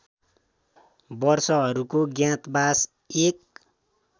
वर्षहरूको ज्ञातवास १